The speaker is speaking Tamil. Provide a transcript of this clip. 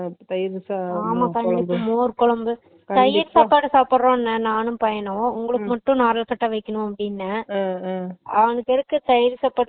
மோர் கொழம்பு தயிர் சாப்பாடு சாப்பறோம்ன நானும் பையனும் உங்களுக்கு மட்டும் நா உரல்கட்ட வெக்கணும் அப்புடின அவனுக்கு எதுக்கு தயிர் சாப்பாடு